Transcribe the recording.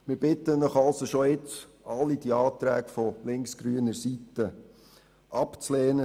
Wir bitten Sie also bereits jetzt, alle die Anträge von linksgrüner Seite abzulehnen.